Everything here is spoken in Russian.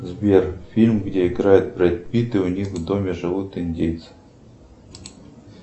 сбер фильм где играет бред питт и у них в доме живут индейцы